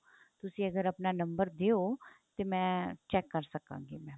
ਤੁਸੀਂ ਅਗਰ ਆਪਣਾ ਨੰਬਰ ਦਿਓ ਤੇ ਮੈਂ check ਕਰ ਸਕਾਂਗੀ mam